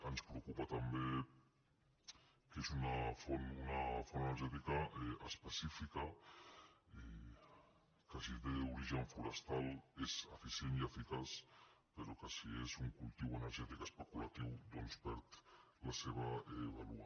ens preocupa també que és una font energètica específica i que si té origen fo·restal és eficient i eficaç però que si és un cultiu ener·gètic especulatiu doncs perd la seva vàlua